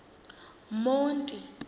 monti